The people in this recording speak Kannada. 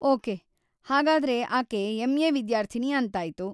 ಓಕೆ, ಹಾಗಾದ್ರೆ ಆಕೆ ಎಂ.ಎ. ವಿದ್ಯಾರ್ಥಿನಿ ಅಂತಾಯ್ತು.